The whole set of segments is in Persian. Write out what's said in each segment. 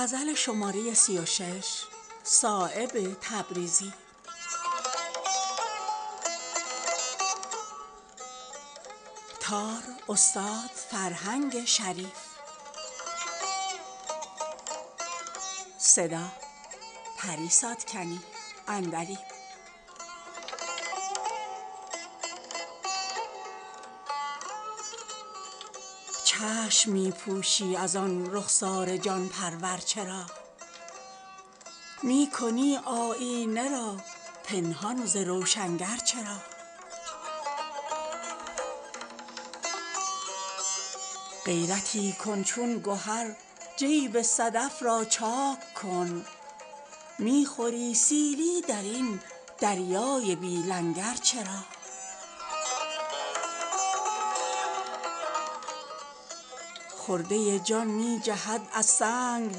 چشم می پوشی ازان رخسار جان پرور چرا می کنی آیینه را پنهان ز روشنگر چرا غیرتی کن چون گهر جیب صدف را چاک کن می خوری سیلی درین دریای بی لنگر چرا خرده جان می جهد از سنگ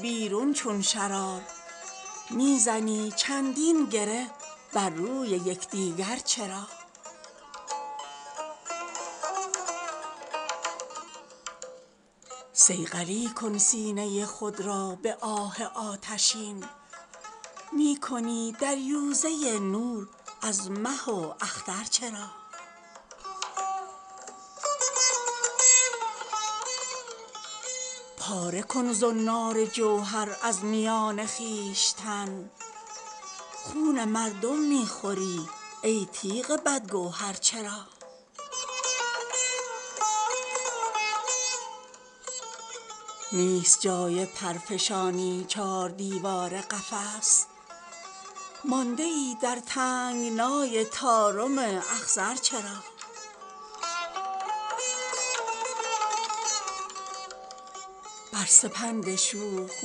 بیرون چون شرار می زنی چندین گره بر روی یکدیگر چرا صیقلی کن سینه خود را به آه آتشین می کنی دریوزه نور از مه و اختر چرا پاره کن زنار جوهر از میان خویشتن خون مردم می خوری ای تیغ بدگوهر چرا نیست جای پر فشانی چار دیوار قفس مانده ای در تنگنای طارم اخضر چرا بر سپند شوخ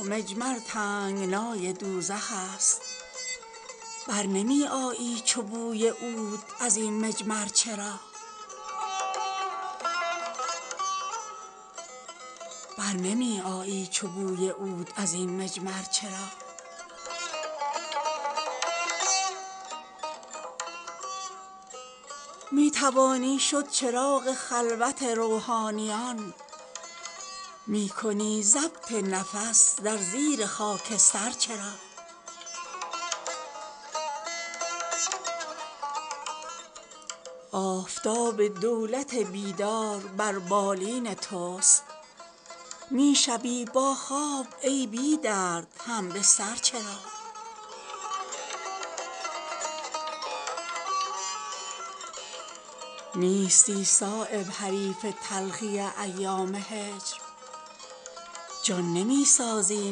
مجمر تنگنای دوزخ است بر نمی آیی چو بوی عود ازین مجمر چرا می توانی شد چراغ خلوت روحانیان می کنی ضبط نفس در زیر خاکستر چرا آفتاب دولت بیدار بر بالین توست می شوی با خواب ای بی درد همبستر چرا نیستی صایب حریف تلخی ایام هجر جان نمی سازی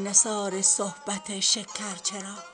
نثار صحبت شکر چرا